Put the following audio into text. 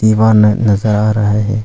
वाहन नजर आ रहा है।